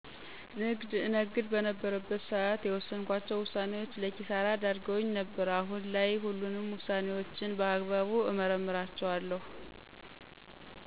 ንግድ እነግድ በነበረበት ስዓት የወስንኳቸው ውሳኔዎች ለኪሳራ ዳርገውኝ ነበር። አሁን ላይ ሁሉንም ውሳኔዎችን በአግባቡ እመረምራቸዋለሁ።